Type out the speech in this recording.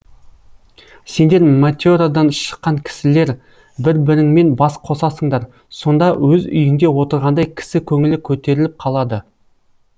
сендер мате радан шыққан кісілер бір біріңмен бас қосасыңдар сонда өз үйіңде отырғандай кісі көңілі көтеріліп қалады